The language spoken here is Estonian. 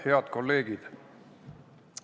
Head kolleegid!